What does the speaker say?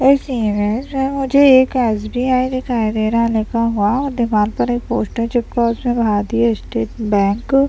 इस इमेज में मुझे एक एस.बी.आई. दिखाई दे रहा है लिखा हुआ और दीवाल पर एक पोस्टर चिपका हुआ है उसमे भारतीय स्टेट बैंक --